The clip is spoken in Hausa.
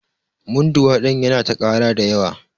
Munduwa ɗin Yana ta ƙara da yawa.